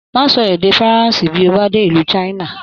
Má sọ èdè Faransé bí o bá dé ìlú China.